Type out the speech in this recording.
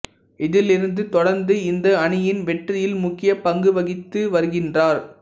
இதிலிருந்து தொடர்ந்து இந்த அணியின் வெற்றியில் முக்கிய பங்குவகித்து வருகின்றார்